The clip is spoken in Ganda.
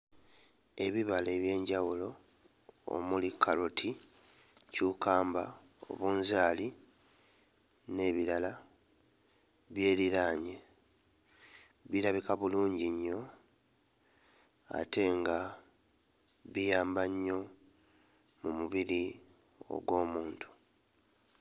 Ebibala eby'enjawulo omuli kkaloti, ccukkamba, obunzaali n'ebirala byeriraanye, birabika bulungi nnyo ate nga biyamba nnyo mu mubiri ogw'omuntu.